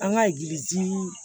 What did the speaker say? An ka